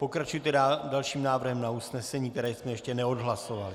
Pokračujte dalším návrhem na usnesení, který jsme ještě neodhlasovali.